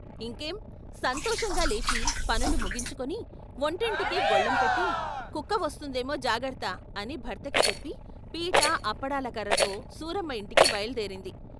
ఇంకేం సంతోషంగా లేచి పనులు ముగించు కుని వంటింటికి గొళ్ళెం పెట్టి ' కుక్క వస్తుందేమో జాగర్త ' అని భర్తకి చెప్పి పీట, అప్పడాల కర్రతో సూరమ్మ యింటికి బయలుదేరింది.